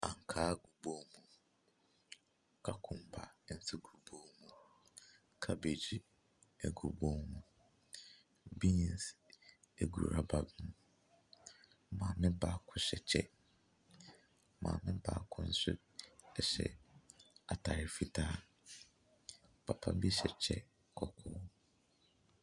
Ankaa gu bowl mu. Kakumba nsogu bowl mu. Kabegyi gu bowl mu. Beans gu rubber mu. Maame baako hyɛ kyɛ. Maame baako nso hyɛ atade fitaa. Ppa bi hyɛ kyɛ kɔkɔɔ.